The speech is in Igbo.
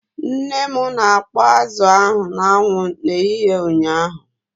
Nne m na-akpọ azụ ahụ n'anwụ n'ehihie ụnyaahụ.